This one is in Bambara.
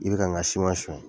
I bi ka n ka suɲɛ